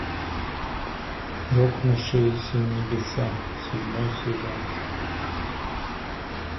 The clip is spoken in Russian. рухнувшие небеса седьмой сезон